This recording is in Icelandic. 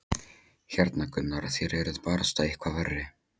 Hérna Gunnar, þér eruð barasta eitthvað verri!